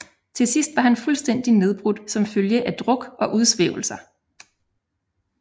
Til sidst var han fuldstændig nedbrudt som følge af druk og udsvævelser